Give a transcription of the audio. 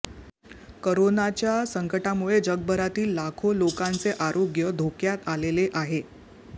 कोरोनाच्या संकटामुळे जगभरातील लाखो लोकांचे आरोग्य धोक्यात आलेले आहे